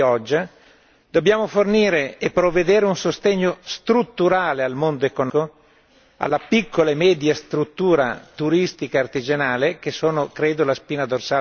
dobbiamo fornire e prevedere un sostegno strutturale al mondo economico, alla piccola e media struttura turistica e artigianale, che credo rappresentino la spina dorsale del paese.